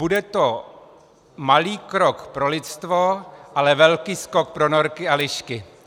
Bude to malý krok pro lidstvo, ale velký skok pro norky a lišky.